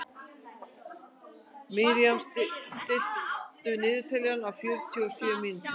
Miriam, stilltu niðurteljara á fjörutíu og sjö mínútur.